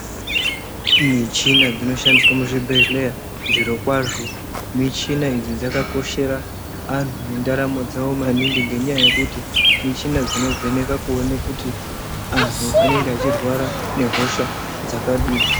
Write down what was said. Michina dzinoshandisa muzvibhedlera, zvirokwazvo michina idzi dzakakoshera antu ngendaramo dzavo maningi ngenyaya yekuti muchina dzinovheneka kuona kuti anhu anenge achirwara nehosha dzakadini.